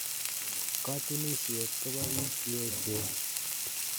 Katunisyet kopo piik che echen